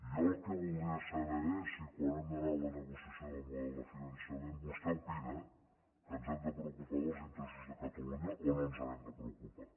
jo el que voldria saber és si quan hem d’anar a la negociació del model de finançament vostè opina que ens hem de preocupar dels interessos de catalunya o no ens n’hem de preocupar